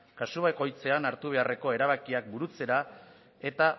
kasu bakoitzean hartu beharreko erabakiak burutzera eta